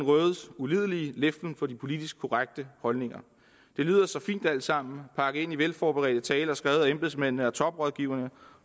rødes ulidelige leflen for de politisk korrekte holdninger det lyder så fint alt sammen pakket ind i velforberedte taler og skrevet af embedsmændene og toprådgiverne